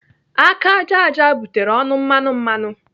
Aka ájá ájá butere ọnụ mmanụ mmanụ.